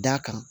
D'a kan